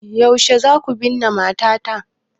Yaushe za ku binne matata?